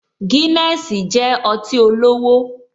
Guinness jẹ́ ọtí olówó